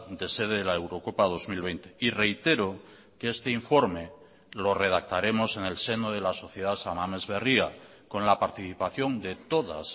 de sede de la eurocopa dos mil veinte y reitero que este informe lo redactaremos en el seno de la sociedad san mamés berria con la participación de todas